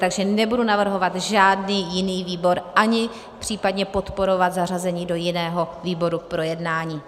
Takže nebudu navrhovat žádný jiný výbor ani případně podporovat zařazení do jiného výboru k projednání.